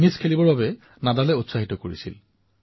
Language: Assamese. ডেনিলে চেম্পিয়ন নাডালৰো খুব প্ৰশংসা কৰিলে